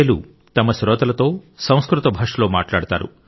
లు తమ శ్రోతలతో సంస్కృత భాషలో మాట్లాడతారు